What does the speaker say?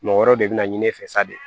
Mɔgɔ wɛrɛw de bɛ na ɲini e fɛ sa de